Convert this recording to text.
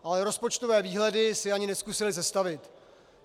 Ale rozpočtové výhledy si ani nezkusili sestavit.